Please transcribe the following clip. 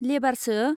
लेबारसो ?